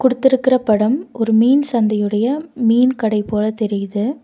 குடுத்திருக்கற படம் ஒரு மீன் சந்தையுடைய மீன் கடை போல தெரியிது.